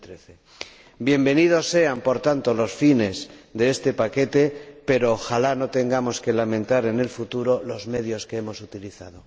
2013. Bienvenidos sean, por tanto, los fines de este paquete, pero ojalá no tengamos que lamentar en el futuro los medios que hemos utilizado.